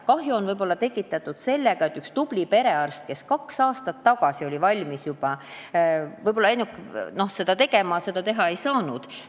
Kahju on võib-olla tekitatud ainult sellega, et üks tubli perearst, kes juba kaks aastat tagasi oli valmis seda kõike tegema, seda teha ei saanud.